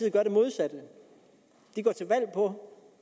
ser på